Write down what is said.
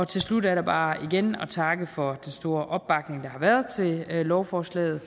til slut er der bare igen at takke for den store opbakning der har været til lovforslaget